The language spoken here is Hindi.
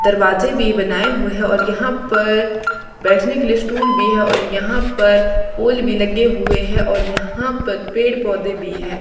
दरवाजे भी बनाए हुए हैं और यहां पर बैठने के लिए स्टूल भी है और यहां पर पोल भी लगे हुए हैं और यहां पर पेड़ पौधे भी हैं।